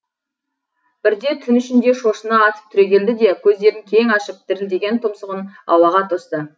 бірде түн ішінде шошына атып түрегелді де көздерін кең ашып дірілдеген тұмсығын ауаға тосты